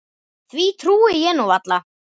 Því trúi ég nú varla.